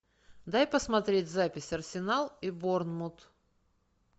дай посмотреть запись арсенал и борнмут